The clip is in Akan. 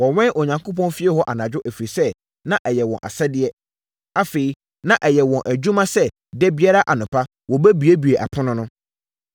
Wɔwɛn Onyankopɔn fie hɔ anadwo, ɛfiri sɛ, na ɛyɛ wɔn asɛdeɛ. Afei, na ɛyɛ wɔn adwuma sɛ da biara anɔpa wɔbuebue apono no.